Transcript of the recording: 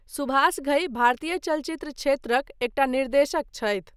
सुभाष घई भारतीय चलचित्र क्षेत्रक एकटा निर्देशक छथि।